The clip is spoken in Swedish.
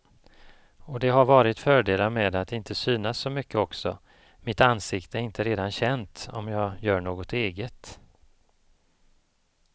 Och det har varit fördelar med att inte synas så mycket också, mitt ansikte är inte redan känt om jag gör något eget.